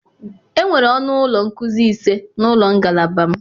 Enwere ọnụ ụlọ nkuzi ise na ụlọ ngalaba m.